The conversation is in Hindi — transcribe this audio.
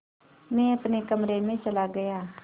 मैं अपने कमरे में चला गया